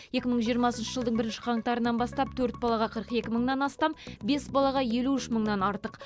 екі мың жиырмасыншы жылдың бірінші қаңтарынан бастап төрт балаға қырық екі мыңнан астам бес балаға елу үш мыңнан артық